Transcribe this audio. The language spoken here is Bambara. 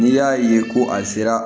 N'i y'a ye ko a sera